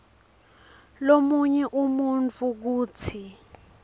lomunye umuntfu kutsi